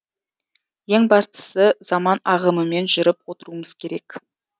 ең бастысы заман ағымымен жүріп отыруымыз керек